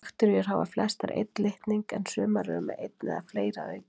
Bakteríur hafa flestar einn litning en sumar eru með einn eða fleiri að auki.